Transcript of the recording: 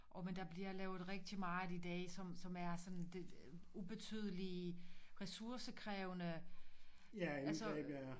Og men altså der bliver lavet rigtigt meget i dag som som er sådan det ubetydelige ressourcekrævende altså